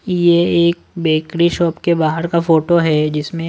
ये एक bakery shop के बाहर का फोटो है जिसमें--